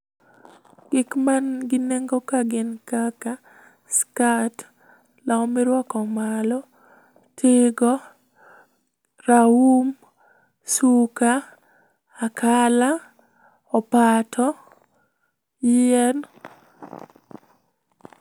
Gik man gi nengo ka gin kaka skat, law miruako malo, tigo, raum, suka, akala, opato, yien.